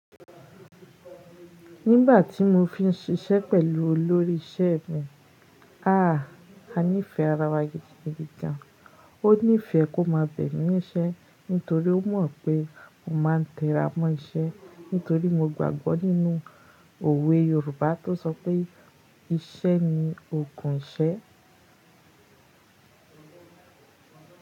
Nígbà tí mo fi ń ṣiṣẹ́ pẹ̀lú olórí iṣẹ́ mi, a, a nífẹ̀ẹ́ ara wa gidigidi gan. Ó nífẹ̀ẹ́ kó má bẹ̀ mí níṣẹ́ nítorí ó mọ̀ pé mo máa ń tẹra mọ́ iṣẹ́ nítorí mo gbàgbọ́ nínú òwe Yorùbá tó sọ pé iṣẹ́ ni ogún ìṣẹ́.